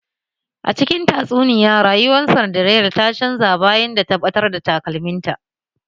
A cikin tatsuniya rayuwar Sindirela ta canza bayan ta da ta batar da takalmin ta